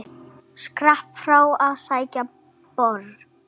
Skrapp frá að sækja bor.